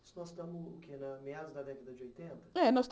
Nós estamos o que em meados da década de oitenta? É nós